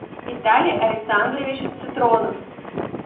виталий александрович цитронов